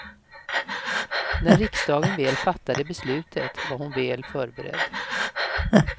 När riksdagen väl fattade beslutet var hon väl förberedd.